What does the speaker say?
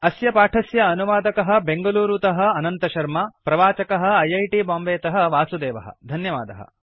अस्य पाठस्य अनुवादकः बेंगलूरुतः अनन्तशर्मा प्रवाचकः ऐ ऐ टी बांबेतः वासुदेवः धन्यवादः